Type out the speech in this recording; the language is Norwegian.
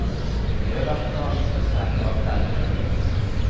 I øverste etasje står strenge vakter i døren.